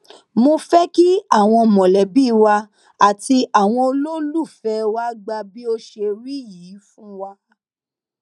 mo fẹ kí àwọn mọlẹbí wa àti àwọn olólùfẹ wa gbà bí ó ṣe rí yìí fún wa